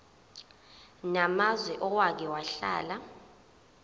namazwe owake wahlala